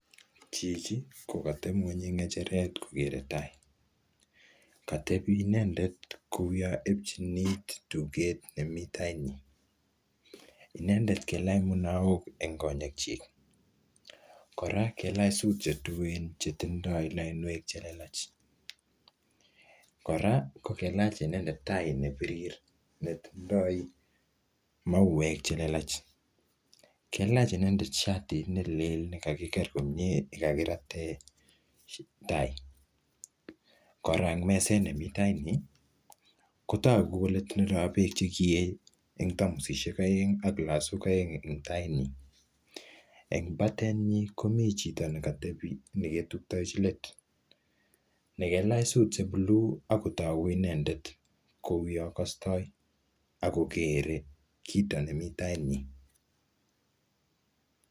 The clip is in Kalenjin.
chichi ko kateeb ngweny en ngecheret kogere taai, koteeb ngweny inendet kouwoon ebchiinit tugeet nemii tainyiin, inendeet kailaach munaook en konyeek chiik, koraa kailaach suut chetuen chetindoo lainweek chelelach, koraa kogailach inendet tai nebirir netindoo maweek chelelach, kailaach inendeet shartiit neleel negagigeer komyee negagirateen tai koraa ak meseet nemii tainyii kotogi kole tindoo beek chegiyee en tamosisyeek oeng ak lasuuk oeng en tainyiin, en batenyiin komii chito negatobi negaituktechi leeet negailaach suut che buluu ak kotoguu inendeet kouyoon kostooi ak kogeree kiito nemii tainyiin.